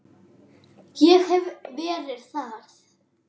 Ég hef verið þar.